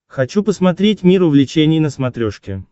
хочу посмотреть мир увлечений на смотрешке